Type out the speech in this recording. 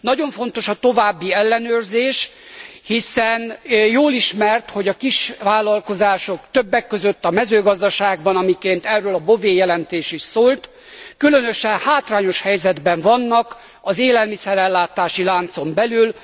Nagyon fontos a további ellenőrzés, hiszen jól ismert, hogy a kisvállalkozások, többek között a mezőgazdaságban, miként erről a Bové jelentés is szólt, különösen hátrányos helyzetben vannak az élelmiszer ellátási láncon belül.